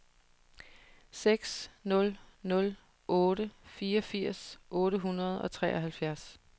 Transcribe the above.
seks nul nul otte fireogfirs otte hundrede og treoghalvfjerds